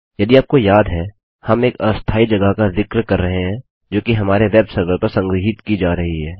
यदि आपको याद है हम एक अस्थायी जगह का जिक्र कर रहे हैं जो कि हमारे वेब सर्वर पर संग्रहीत की जा रही है